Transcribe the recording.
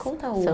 Conta uma.